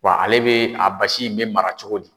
Wa ale be, a basi be mara cogo di?